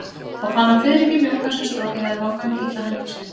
Þá fann hann fiðringinn mjúka sem strokið hafði vangann kitla hendur sínar.